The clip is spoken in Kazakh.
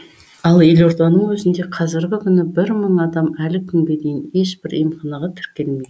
ал елорданың өзінде қазіргі күні бір мың адам әлі күнге дейін ешбір емханаға тіркелмеген